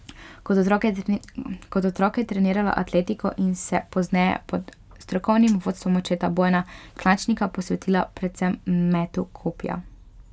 Kot otrok je trenirala atletiko in se pozneje pod strokovnim vodstvom očeta Bojana Klančnika posvetila predvsem metu kopja.